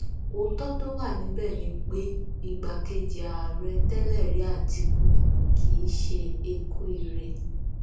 òótọ tó wà níbẹ ni pé igbákejì ààrẹ tẹlẹrí àtìkù kì í ṣe eku ire